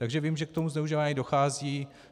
Takže vím, že k tomu zneužívání dochází.